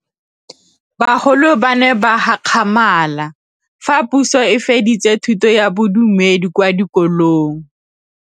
Bagolo ba ne ba gakgamala fa Pusô e fedisa thutô ya Bodumedi kwa dikolong.